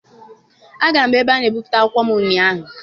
Agara m ebe ana ebipụta akwụkwọ ụnyaahụ.